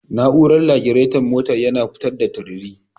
Na'urar lagiraton motar yana fitar da tururi.